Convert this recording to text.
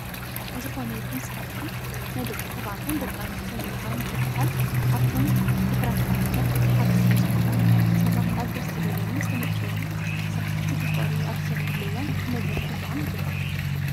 ዝኾነ ይኹን ስራሕቲ ናይ ደቂ ተባዕትዮን ደቂ ኣንስትዮን ኢልኻ ምክፍፋይ ኣብቶም ድሑራት ባህልታት እቲ ሓደ ስለዝኾነ ሰባት ኣብ ደስ ዝበሎምን ዝመቸዎምን ስራሕቲ ብፍቅሪ ኣብ ዝሰርሕሉ እዋን ክንበረታትዖም ይግባእ።